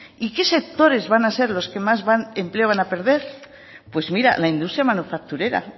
y qué sectores van a ser los que más empleo van a perder pues mira la industria manufacturera